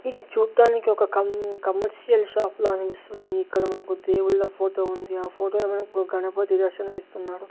ఇది చూట్టానికి ఒక కం కమర్షియల్ షాప్ లా అనిపిస్తుంది ఇక్కడ మనకు దేవుళ్ల ఫోటో ఉంది ఆ ఫోటోలో మనకు గణపతి దర్శనం ఇస్తున్నాడు.